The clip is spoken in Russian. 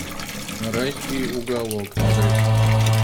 райский уголок адрес